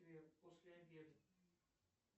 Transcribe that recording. после обеда